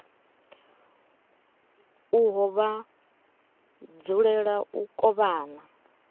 uho vha dzulela u kovhana